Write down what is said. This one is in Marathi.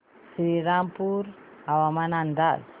श्रीरामपूर हवामान अंदाज